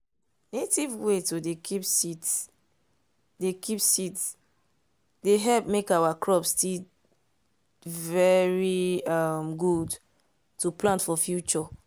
native way to dey keep seeds dey keep seeds dey help make our crops still very um good to plant for future.